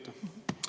Aitäh!